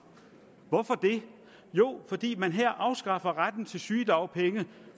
hvorfor det jo fordi man her afskaffer retten til sygedagpenge